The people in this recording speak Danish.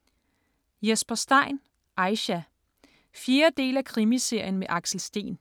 Stein, Jesper: Aisha 4. del af Krimiserien med Axel Steen.